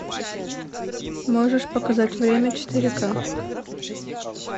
можешь показать время четыре ка